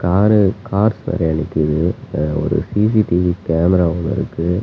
ஆறு கார் சரியா நிக்குது ஒரு சி_சி_டி_வி கேமரா ஒன்னு இருக்கு.